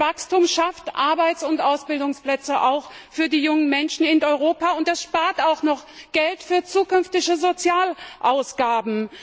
Wachstum schafft Arbeits und Ausbildungsplätze auch für die jungen Menschen in Europa, und man spart auch noch Geld für zukünftige Sozialausgaben.